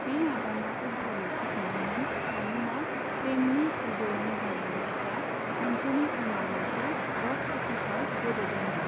बे आगाना उलथायै फैफिनदोंमोन मानोना प्रेमनि गुबै मोजां मोन्नायफ्रा मोनसेनि उनाव मोनसे बक्स अफिसाव गोदोदोंमोन।